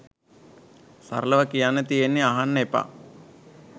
සරලව කියන්න තියෙන්නෙ අහන්න එපා.